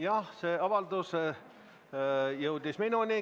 Jah, see avaldus jõudis minuni.